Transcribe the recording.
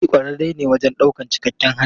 Muri kwararre ne wajen daukar cikakken harbi.